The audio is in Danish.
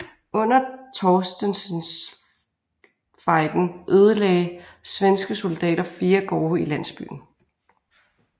Under Torstenssonfejden ødelagde svenske soldater fire gårde i landsbyen